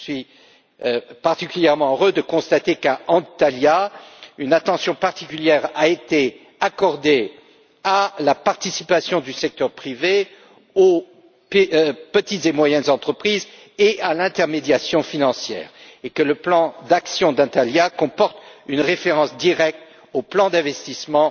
Je suis particulièrement heureux de constater qu'à Antalya, une attention particulière a été accordée à la participation du secteur privé aux petites et moyennes entreprises et à l'intermédiation financière et que le plan d'action d'Antalya comporte une référence directe au plan d'investissement